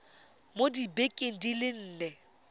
mo dibekeng di le nne